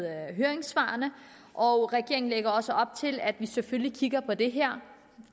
høringssvarene og regeringen lægger op til at vi selvfølgelig kigger på det her